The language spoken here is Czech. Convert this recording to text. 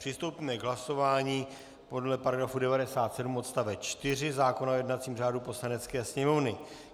Přistoupíme k hlasování podle § 57 odst. 4 zákona o jednacím řádu Poslanecké sněmovny.